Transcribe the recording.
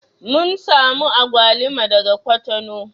Mun samo agwaluma daga kwatano